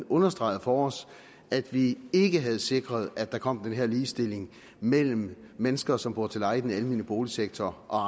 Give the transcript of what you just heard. understregede for os at vi ikke havde sikret at der kom den her ligestilling mellem de mennesker som bor til leje i den almene boligsektor og